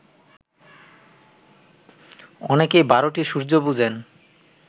অনেকেই বারটি সূর্য্য বুঝেন